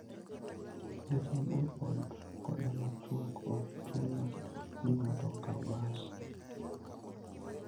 Wuoth mabor koda machuok ok chuno ni ng'ato okaw bas.